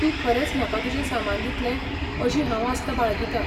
तूं खरेंच म्हाका तुजें सामान दितलें अशी हांव आस्त बाळगितां.